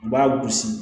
U b'a gosi